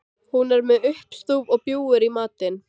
Hún er með uppstúf og bjúgu í matinn.